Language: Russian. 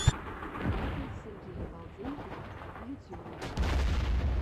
батл сергея балденкова в ютюбе